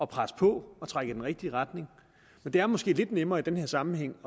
presse på og trække i den rigtige retning men det er måske lidt nemmere i den her sammenhæng